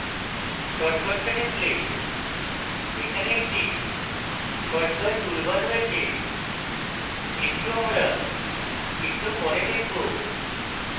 shortcuts a টিপলে এখানে একটি shortcuts টুলবার রয়েছে এটিও আমরা একটু পরে দেখবো